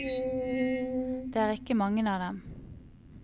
Det er ikke mange av dem.